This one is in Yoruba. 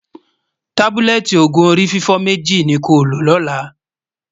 tábúlẹ́tì ògún orí fífọ̀ méjì nì kò ló lólà